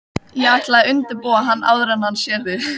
Ég ætla að undirbúa hann áður en hann sér þig